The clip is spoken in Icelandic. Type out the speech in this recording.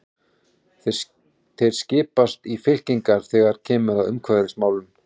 Þeir skiptast í fylkingar þegar kemur að umhverfismálum.